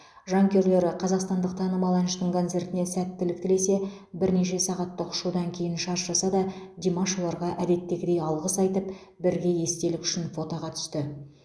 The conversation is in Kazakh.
жанкүйерлері қазақстандық танымал әншінің концертіне сәттілік тілесе бірнеше сағаттық ұшудан кейін шаршаса да димаш оларға әдеттегідей алғыс айтып бірге естелік үшін фотоға түсті